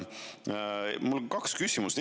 Mul on kaks küsimust.